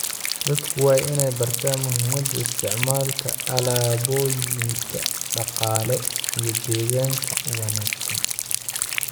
Dadku waa inay bartaan muhiimada isticmaalka alaabooyinka dhaqaale iyo deegaanka u wanaagsan.